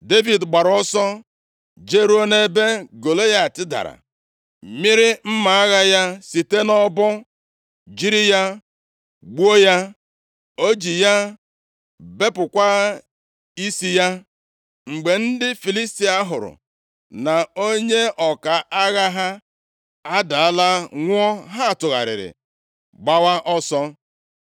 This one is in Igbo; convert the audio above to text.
Devid gbaara ọsọ jeruo nʼebe Golaịat dara, mịịrị mma agha ya site nʼọbọ, jiri ya gbuo ya. O ji ya bepụkwa isi ya! Mgbe ndị Filistia hụrụ na onye ọka agha ha adaala nwụọ, ha tụgharịrị gbawa ọsọ.